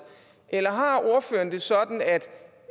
eller har ordføreren det sådan at